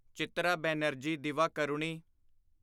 Chitra Banerjee Divakaruni